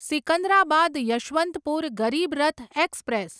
Secunderabad Yesvantpur Garib Rath express